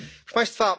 Proszę Państwa!